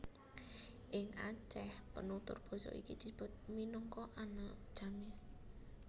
Ing Aceh penutur basa iki disebut minangka Aneuk Jamee